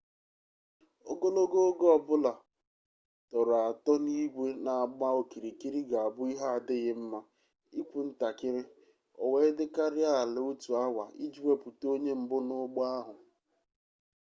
ogologo oge ọ bụla a tọrọ atọ n'igwe na-agba okirikiri ga-abụ ihe adighi nma ikwu ntakịrị o wee dịkarịa ala otu awa iji wepụta onye mbụ n'ụgbọ ahụ